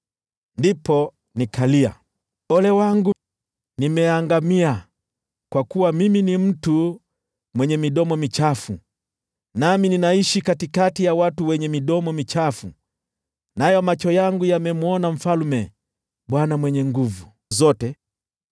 Ndipo nikalia, “Ole wangu! Nimeangamia! Kwa kuwa mimi ni mtu mwenye midomo michafu, nami ninaishi katikati ya watu wenye midomo michafu, nayo macho yangu yamemwona Mfalme, Bwana Mwenye Nguvu Zote.”